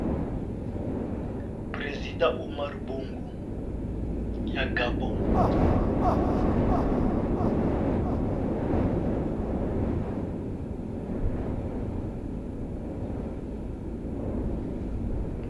Président Omar Bongo ya Gabon.